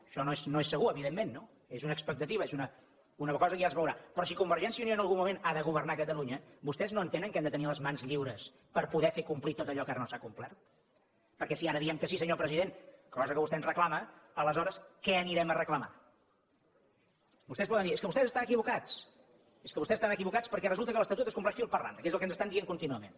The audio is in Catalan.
això no és segur evidentment no és una expectativa és una cosa que ja es veurà però si convergència i unió en algun moment ha de governar catalunya vostès no entenen que hem de tenir les mans lliures per poder fer complir tot allò que ara no s’ha complert perquè si ara diem que sí senyor president cosa que vostè ens reclama aleshores què anirem a reclamar vostès poden dir és que vostès estan equivocats és que vostès estan equivocats perquè resulta que l’estatut es compleix fil per randa que és el que ens estan dient contínuament